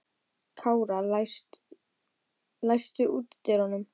Kára, læstu útidyrunum.